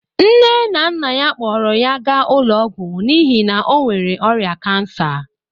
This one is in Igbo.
Nne na nna ya kpọọrọ ya gaa ụlọ ọgwụ n'ihi na ọ nwere ọrịa kansa